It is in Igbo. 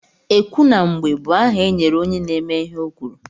Ekwu na mgbe bụ aha e nyere onye na-eme ihe o kwuru.